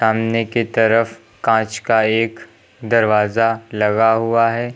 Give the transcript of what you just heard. सामने की तरफ कांच का एक दरवाजा लगा हुआ है।